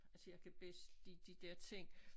Altså jeg kan bedst lide de dér ting